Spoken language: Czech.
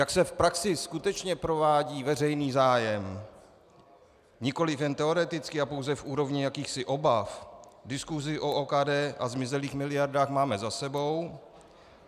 Jak se v praxi skutečně provádí veřejný zájem, nikoliv jen teoreticky a pouze v úrovni jakýchsi obav, diskusi o OKD a zmizelých miliardách máme za sebou.